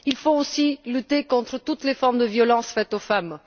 Il faut aussi lutter contre toutes les formes de violences faites aux femmes.